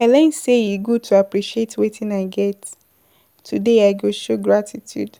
I learn sey e good to appreciate wetin I get, today I go show gratitude.